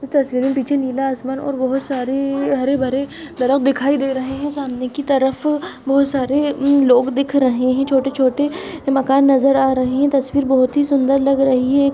इस तस्वीर में पीछे नीला आसमान और बहोत सारे हरे - भरे दिखाई दे रहे है सामने की तरफ बहुत सारे लोग दिख रहे है छोटे - छोटे मकान नज़र आ रहे है तस्वीर बहुत ही सुंदर लग रही है।